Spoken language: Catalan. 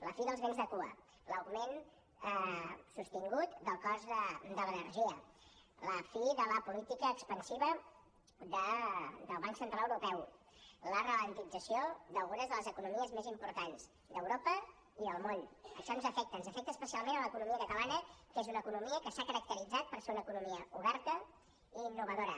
la fi dels béns de cua l’augment sostingut del cost de l’energia la fi de la política expansiva del banc central europeu l’alentiment d’algunes de les economies més importants d’europa i del món això ens afecta ens afecta especialment a l’economia catalana que és una economia que s’ha caracteritzat per ser una economia oberta i innovadora